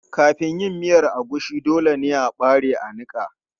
Kafin yin miya agushi, dole ne a ɓare a niƙa.